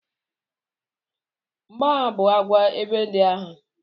Mgboagha bụ ngwa egbe ndị agha.